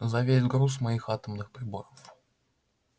за весь груз моих атомных приборов